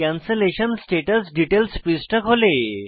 cancellation status details পৃষ্ঠা খোলে